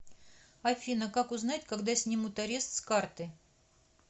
афина как узнать когда снимут арест с карты